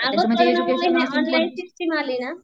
कोरोनामुळे ऑनलाईनची स्कीम आली ना